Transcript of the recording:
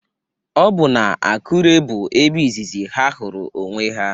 Ọ bụ n'Akure bụ ebe izizi ha hụrụ onwe ha